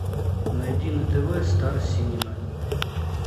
найди на тв стар синема